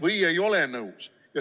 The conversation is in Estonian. või ei ole nõus.